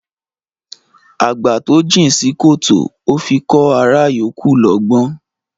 Àgbà tó jìn sí kòtò ó fi kọ́ ará yòókù lọ́gbọ́n